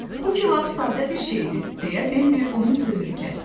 Bu ki lap sadə bir şeydir, deyə Bembi onun sözünü kəsdi.